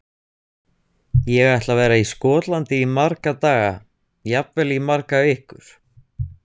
Ég ætla að vera í Skotlandi í marga daga, jafnvel í margar vikur.